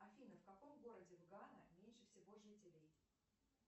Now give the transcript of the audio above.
афина в каком городе в гана меньше всего жителей